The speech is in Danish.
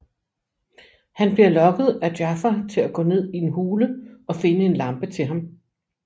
Han bliver lokket af Jafar til at gå ned i en hule og finde en lampe til ham